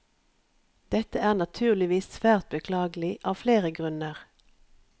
Dette er naturligvis svært beklagelig av flere grunner.